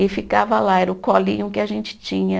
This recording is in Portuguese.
E ficava lá, era o colinho que a gente tinha.